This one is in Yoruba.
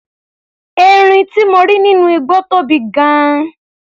Erin tí mo rí nínú igbó tóbi gan-an.